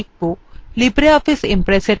libreoffice impressএর পরিচিতি